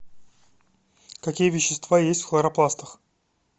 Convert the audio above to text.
какие вещества есть в хлоропластах